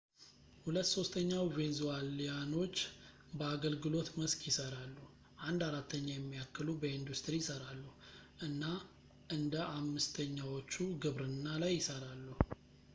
ሁለት ሶስተኛው ቬንዙዋሊያኖች በአገልግሎት መስክ ይሠራሉ አንድ አራተኛ የሚያክሉ በኢንዱስትሪ ይሠራሉ እና አንደ አምስተኛዎቹ ግብርና ላይ ይሠራሉ